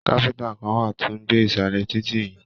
Káfíntà kàn wá tó n gbé nisalẹ títí yìí.